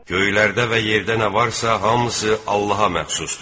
Göylərdə və yerdə nə varsa, hamısı Allaha məxsusdur.